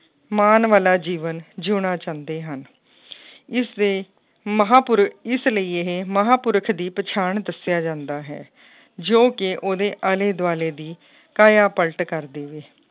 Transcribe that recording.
ਮਾਨ ਵਾਲਾ ਜੀਵਨ ਜਿਉਣਾ ਚਾਹੁੰਦੇ ਹਨ ਇਸਦੇ ਮਹਾਂ ਪੁਰ ਇਸ ਲਈ ਇਹ ਮਹਾਂ ਪੁਰਖ ਦੀ ਪਛਾਣ ਦੱਸਿਆ ਜਾਂਦਾ ਹੈ, ਜੋ ਕਿ ਉਹਦੇ ਆਲੇ ਦੁਆਲੇ ਦੀ ਕਾਇਆ ਪਲਟ ਕਰ ਦੇਵੇ